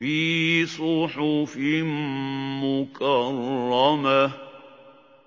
فِي صُحُفٍ مُّكَرَّمَةٍ